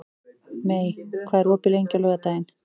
Mey, hvað er opið lengi á laugardaginn?